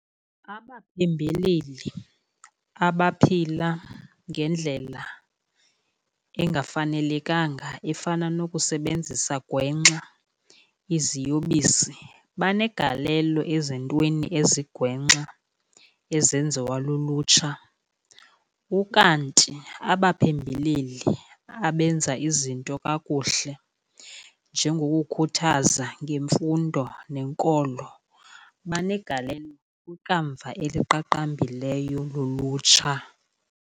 Abaphembeleli abaphila ngendlela engafanelekanga efana nokusebenzisa gwenxa iziyobisi banegalelo ezintweni ezigwenxa ezenziwa lulutsha. Ukanti abaphembeleli abenza izinto kakuhle njengokukhuthaza ngemfundo nenkolo banegalelo kwikamva eliqaqambileyo lolutsha.